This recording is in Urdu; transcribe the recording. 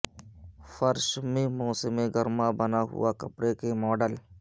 فرش میں موسم گرما بنا ہوا کپڑے کے ماڈل